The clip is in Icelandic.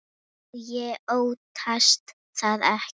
Og ég óttast það ekki.